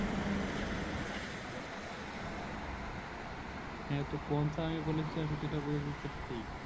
হ্যাঁ তো কোনসা আমি বলেছি যে আমি যেটা বলেছি সেটা ঠিক